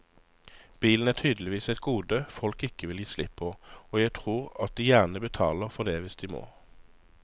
Bilen er tydeligvis et gode folk ikke vil gi slipp på og jeg tror at de gjerne betaler for det hvis de må.